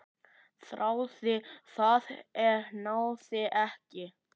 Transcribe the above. Þráði það, en náði ekki.